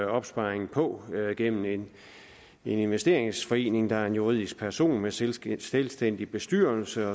opsparing på er gennem en investeringsforening der er en juridisk person med selvstændig selvstændig bestyrelse